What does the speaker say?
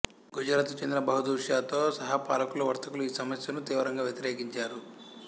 గుజరాతుకు చెందిన బహదూర్ షాతో సహా పాలకులు వర్తకులు ఈ సమస్యను తీవ్రంగా వ్యతిరేకించారు